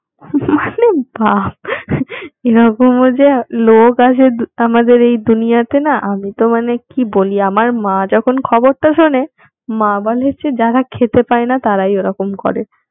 মানে ভাব এরকমও যে লোক আছে আমাদের এই দুনিয়াতে না আমি তো মানে কি বলি আমার মা যখন খবরটা শুনে মা বলে যে যারা খেতে পায়না তারা ওরকম করে